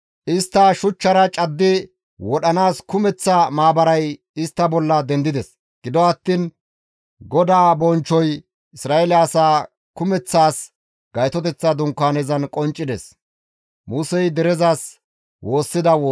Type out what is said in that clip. Istta shuchchara caddi wodhanaas kumeththa maabaray istta bolla dendides; gido attiin GODAA bonchchoy Isra7eele asaa kumeththaas Gaytoteththa Dunkaanezan qonccides.